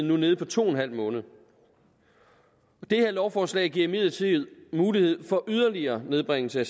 nu nede på to en halv måned det her lovforslag giver imidlertid mulighed for yderligere nedbringelse